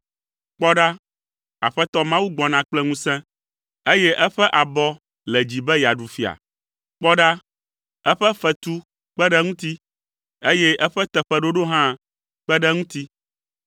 Kpɔ ɖa, Aƒetɔ Mawu gbɔna kple ŋusẽ, eye eƒe abɔ le dzi be yeaɖu fia. Kpɔ ɖa, eƒe fetu kpe ɖe eŋuti, eye eƒe teƒeɖoɖo hã kpe ɖe eŋuti.